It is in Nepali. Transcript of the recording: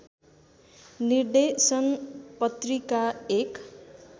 निर्देशन पत्रिका एक